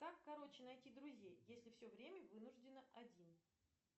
как короче найти друзей если все время вынуждено один